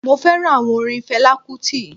Mo féràn áwon orin felá kútì